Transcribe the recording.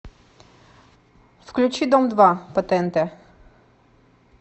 включи дом два по тнт